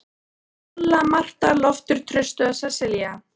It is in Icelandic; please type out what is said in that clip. Lolla, Marta, Loftur, Trausti og Sesselía.